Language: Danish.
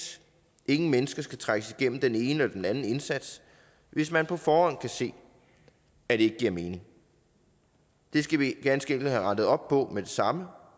ingen mennesker skal trækkes igennem den ene eller den anden indsats hvis man på forhånd kan se at det ikke giver mening det skal vi ganske enkelt have rettet op på med det samme